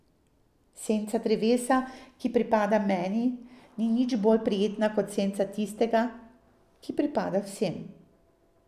Senca drevesa, ki pripada meni, ni nič bolj prijetna kot senca tistega, ki pripada vsem.